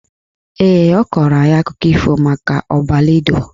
Ee, ọ kọrọ anyị akụkọ ifo maka Ọbaledo